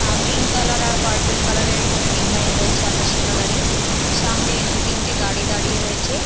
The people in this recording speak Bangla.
আ- পিঙ্ক কালার আর পার্পেল কালার - এর এখানে ডিসাইন রয়েছে আকাশি কালার - এর সামনে দুতিনটে গাড়ি দাঁড়িয়ে রয়েছে--